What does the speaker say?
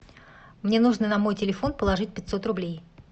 мне нужно на мой телефон положить пятьсот рублей